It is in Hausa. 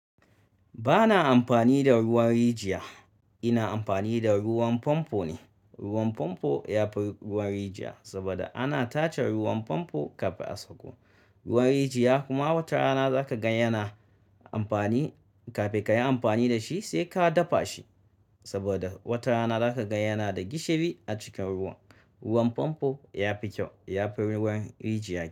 Bana amfani da ruwan rijiya, ina amfani da ruwan fonfo ne. Ruwan famfo ya fi ruwan rijiya saboda ana tace ruwan famfo kafin a sako. Ruwan rijiya kuma watarana za ka gan yana amfani kafin ka yi amfani da shi sai ka dafa shi. Saboda watarana za ka gan yana da gishiri a cikin ruwan. Ruwan fomfo ya fi kyau, ya fi ruwan rijiya kyau.